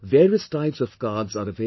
Various types of cards are available